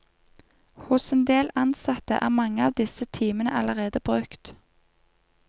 Hos en del ansatte er mange av disse timene allerede brukt.